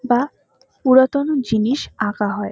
বা পুরাতন জিনিস আঁকা হয়।